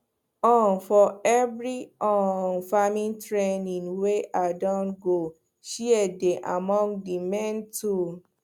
um for every um farm training wey i don go shears dey among the main tools